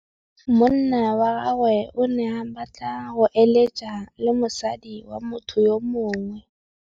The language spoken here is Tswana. Monna wa gagwe o ne a batla go êlêtsa le mosadi wa motho yo mongwe.